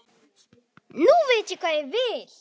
Nú veit ég hvað ég vil.